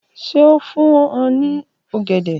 Ṣe o fun u ni ogede?